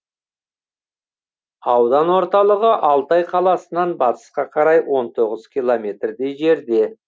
аудан орталығы алтай қаласынан батысқа қарай он тоғыз километрдей жерде